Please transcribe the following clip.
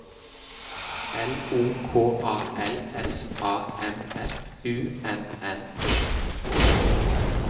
L O K A L S A M F U N N E T